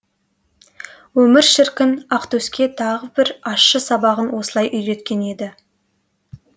өмір шіркін ақтөске тағы бір ащы сабағын осылай үйреткен еді